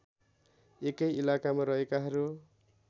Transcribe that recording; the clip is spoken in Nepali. एकै इलाकामा रहेकाहरू